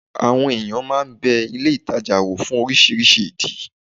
Àwọn èèyàn máa n bẹ ilé ìtajà wò fún oríṣiríṣi ìdí